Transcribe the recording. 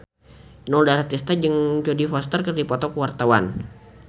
Inul Daratista jeung Jodie Foster keur dipoto ku wartawan